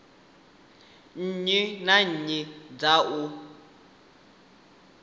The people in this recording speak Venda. nnyi na nnyi dza u